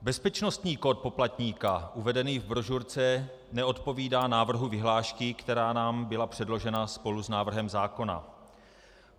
Bezpečnostní kód poplatníka uvedený v brožurce neodpovídá návrhu vyhlášky, která nám byla předložena spolu s návrhem zákona.